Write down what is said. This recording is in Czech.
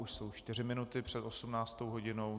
Už jsou čtyři minuty před 18. hodinou.